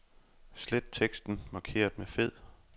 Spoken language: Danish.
Slet teksten markeret med fed.